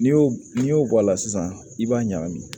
N'i y'o n'i y'o bɔ a la sisan i b'a ɲagami